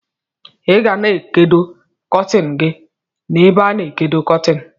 Igana ekodo kọtin gi na ebe ana ekodo kọtin.